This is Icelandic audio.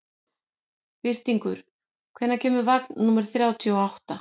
Birtingur, hvenær kemur vagn númer þrjátíu og átta?